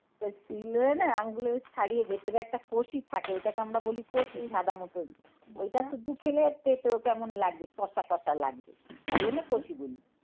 তা শিলনোড়ায় না আমগুলো বেশ ছাড়িয়ে ভেতরে একটা কোসি থাকে ওটাকে আমরা বলি কষি সাদা মতন ঐটা শুধু খেলে পেতো কেমন লাগবে কষা কষা লাগবে। তাই জন্য কষি বলি।